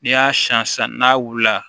N'i y'a siyan sisan n'a wulila